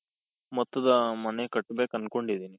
ಮೊತ್ತದ ಮನೆ ಕಟ್ಬೇಕ್ ಅನ್ಕೊಂಡಿದ್ದೀನಿ.